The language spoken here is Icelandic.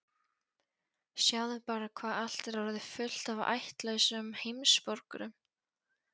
Sjáðu bara hvað allt er orðið fullt af ættlausum heimsborgurum!